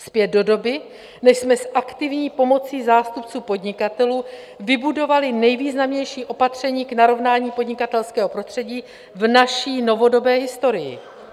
Zpět do doby, než jsme s aktivní pomocí zástupců podnikatelů vybudovali nejvýznamnější opatření k narovnání podnikatelského prostředí v naší novodobé historii.